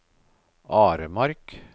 Aremark